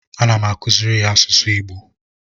ana m akuziri ya asụsụ igbo